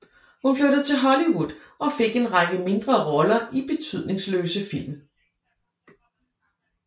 Hun flyttede til Hollywood og fik en række mindre roller i betydningsløse film